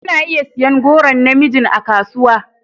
Kuna iya siyan goron na mijin a kasuwa.